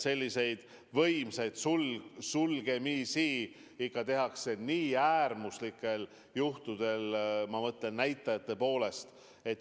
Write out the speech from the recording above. Selliseid võimsaid sulgemisi ikka tehakse äärmuslikel juhtudel, ma mõtlen just näitajate poolest äärmuslikel.